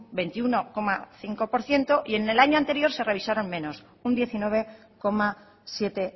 veintiuno coma cinco por ciento y en el año anterior se revisaron menos un diecinueve coma siete